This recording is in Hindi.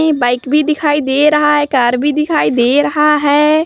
एक बाइक भी दिखाई दे रहा है और एक कार भी दिखाई दे रहा है।